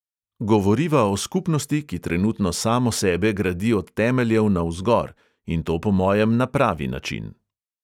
Govoriva o skupnosti, ki trenutno samo sebe gradi od temeljev navzgor, in to po mojem na pravi način.